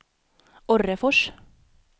Orrefors